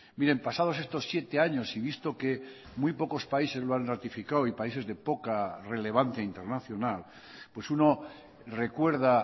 miren pasados estos siete años y visto que muy pocos países lo han ratificado y países de poca relevancia internacional pues uno recuerda